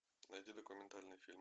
найди документальный фильм